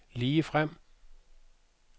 ligefrem